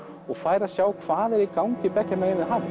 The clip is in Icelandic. og fær að sjá hvað er í gangi beggja megin við hafið